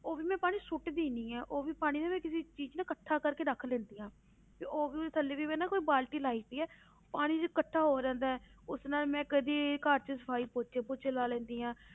ਉਹ ਵੀ ਮੈਂ ਪਾਣੀ ਸੁੱਟਦੀ ਨੀ ਹੈ ਉਹ ਵੀ ਪਾਣੀ ਨਾ ਮੈਂ ਕਿਸੇ ਚੀਜ਼ 'ਚ ਨਾ ਇਕੱਠਾ ਕਰਕੇ ਰੱਖ ਲੈਂਦੀ ਹਾਂ, ਤੇ ਉਹ ਵੀ ਥੱਲੇ ਦੀ ਮੈਂ ਨਾ ਕੋਈ ਬਾਲਟੀ ਲਾਈ ਹੋਈ ਹੈ, ਪਾਣੀ ਜਦ ਇਕੱਠਾ ਹੋ ਜਾਂਦਾ ਹੈ, ਉਸ ਨਾਲ ਮੈਂ ਕਦੇ ਘਰ ਦੀ ਸਫ਼ਾਈ ਪੋਚੇ ਪੂਚੇ ਲਾ ਲੈਂਦੀ ਹਾਂ